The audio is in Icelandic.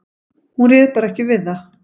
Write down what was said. Hún réð bara ekki við það.